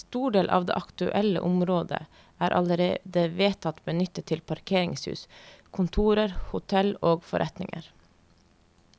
En stor del av det aktuelle området er allerede vedtatt benyttet til parkeringshus, kontorer, hotell og forretninger.